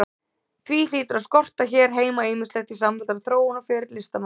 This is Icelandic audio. Því hlýtur að skorta hér heima ýmislegt í samfelldan þróunarferil listamannsins.